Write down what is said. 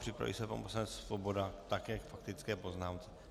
Připraví se pan poslanec Svoboda také k faktické poznámce.